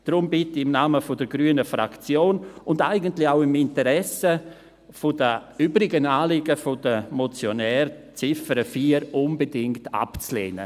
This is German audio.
Deshalb bitte ich im Namen der grünen Fraktion und eigentlich auch im Interesse der übrigen Anliegen der Motionäre, die Ziffer 4 unbedingt abzulehnen.